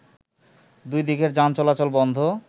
দুই দিকের যান চলাচল বন্ধ